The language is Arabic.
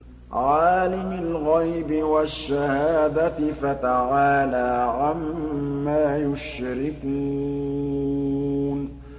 عَالِمِ الْغَيْبِ وَالشَّهَادَةِ فَتَعَالَىٰ عَمَّا يُشْرِكُونَ